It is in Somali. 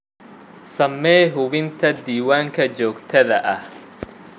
Samee hubinta diiwaanka joogtada ah.